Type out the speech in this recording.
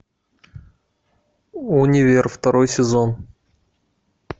универ второй сезон